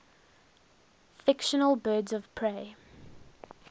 fictional birds of prey